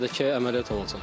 Bədə ki əməliyyat olunacam.